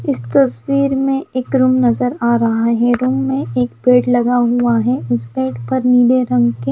इस तस्वीर में एक रूम नजर आ रहा है रूम में एक पेड़ लगा हुआ है उस पेड़ पर नीले रंग के--